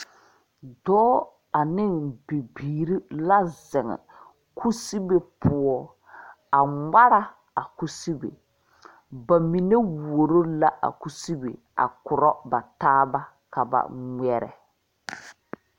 Dɔɔ aneŋ bibiire la zeŋ kusebe poɔ a ngmara a kusebe ba mine wuoro la a kusebe a korɔ ba taa ba ka ba ngmɛrɛ.